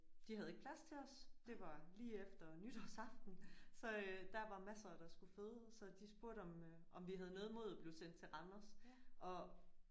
De havde ikke plads til os det var lige efter nytårsaften så øh der var masser der skulle føde så de spurgte om øh om vi havde noget imod at blive sendt til Randers og